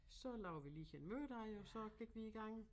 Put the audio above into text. Så lavede vi lige en mørdej og så gik vi i gang